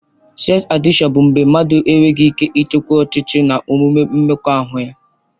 Seks adịkshọn bụ mgbe mmadụ enweghị ike ịchịkwa ọchịchọ na omume mmekọahụ ya.